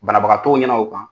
Banabagatɔw ɲɛna o kan.